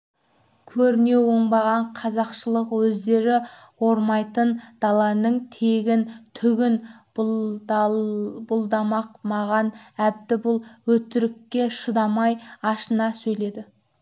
көрінеу оңбаған қазақшылық өздері ормайтын даланың тегін түгін бұлдамақ маған әбді бұл өтірікке шыдамай ашына сөйледі